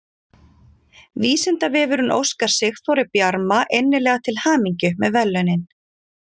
Vísindavefurinn óskar Sigþóri Bjarma innilega til hamingju með verðlaunin!